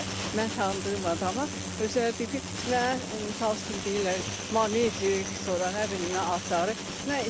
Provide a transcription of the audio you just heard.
Mən tanıdığım adamlar özləri deyiblər ki, mənə misal üçün deyirlər, qoymayın tik, sonra nə bilim nə adları.